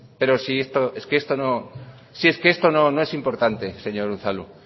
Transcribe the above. pero si es que esto no es importante señor unzalu